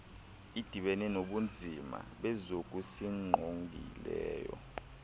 idibene nobunzima bezokusingqongileyo